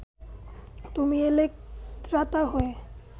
তুমি এলে ত্রাতা হয়ে